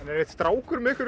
er einn strákur með ykkur í